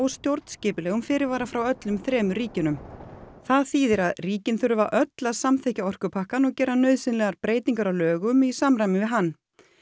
stjórnskipulegum fyrirvara frá öllum þremur ríkjunum það þýðir að ríkin þurfa öll að samþykkja orkupakkann og gera nauðsynlegar breytingar á lögum í samræmi við hann